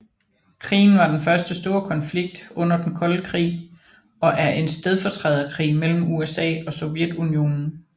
Krigen var den første store konflikt under den kolde krig og er en stedfortræderkrig mellem USA og Sovjetunionen